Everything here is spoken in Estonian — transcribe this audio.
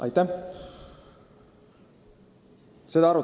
Aitäh!